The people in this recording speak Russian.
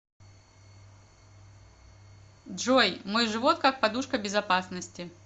джой мой живот как подушка безопасности